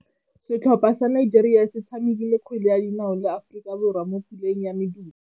Setlhopha sa Nigeria se tshamekile kgwele ya dinaô le Aforika Borwa mo puleng ya medupe.